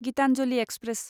Gitanjali express